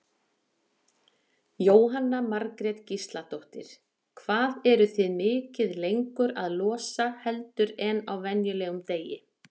Jóhanna Margrét Gísladóttir: Hvað eruð þið mikið lengur að losa heldur en á venjulegum degi?